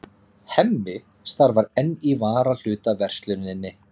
Hemmi starfar enn í varahlutaversluninni.